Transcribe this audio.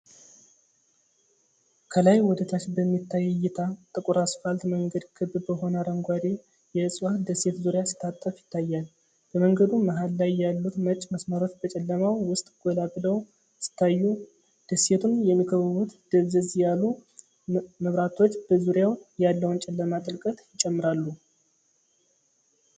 ከላይ ወደታች በሚታይ እይታ፣ ጥቁር አስፋልት መንገድ ክብ በሆነ አረንጓዴ የዕፅዋት ደሴት ዙሪያ ሲታጠፍ ይታያል። በመንገዱ መሃል ላይ ያሉት ነጭ መስመሮች በጨለማው ውስጥ ጎላ ብለው ሲታዩ፤ ደሴቱን የሚከብቡት ደብዘዝ ያሉ መብራቶች በዙሪያው ያለውን ጨለማ ጥልቀት ይጨምራሉ።